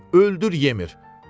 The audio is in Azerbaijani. Yemir, öldür, yemir.